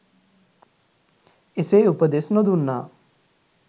එසේ උපදෙස් නොදුන්නා